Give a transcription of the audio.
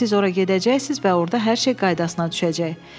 Siz ora gedəcəksiniz və orda hər şey qaydasına düşəcək.